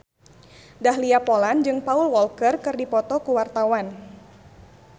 Dahlia Poland jeung Paul Walker keur dipoto ku wartawan